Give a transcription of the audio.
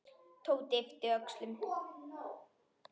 Tóti yppti öxlum.